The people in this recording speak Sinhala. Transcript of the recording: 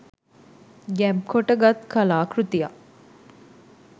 ගැබ් කොට ගත් කලා කෘතියක්